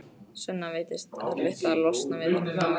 Svenna veitist erfitt að losna við þessa nagandi óvissu.